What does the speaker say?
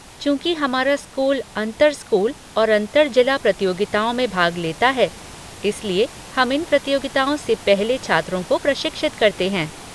चूंकि हमारा स्कूल अंतर स्कूल और अंतर जिला प्रतियोगिताओं में भाग लेता है, इसलिए हम इन प्रतियोगिताओं से पहले छात्रों को प्रशिक्षित करते हैं।